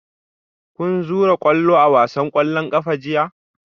Kun zura kwallo a wasan kwallon kafa jiya?